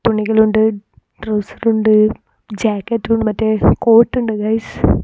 തുണികളുണ്ട് trouser ഉണ്ട് jacket മറ്റേ കോട്ടുണ്ട് ഗൈസ് .